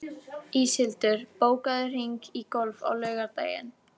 Íshildur, bókaðu hring í golf á laugardaginn.